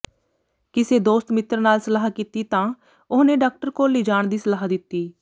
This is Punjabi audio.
ਕਿਸੇ ਦੋਸਤ ਮਿੱਤਰ ਨਾਲ ਸਲਾਹ ਕੀਤੀ ਤਾਂ ਉਹਨੇ ਡਾਕਟਰ ਕੋਲ ਲਿਜਾਣ ਦੀ ਸਲਾਹ ਦਿੱਤੀ